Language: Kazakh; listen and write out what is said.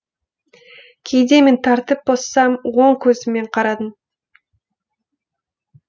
кейде мен тәртіп бұзсам оң көзіңмен қарадың